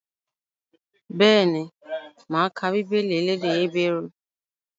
Bẹ́ẹ̀ni, máa ka Bíbélì elédè Hébérù